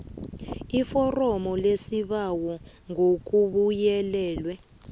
iforomo lesibawo ngokubuyelelwe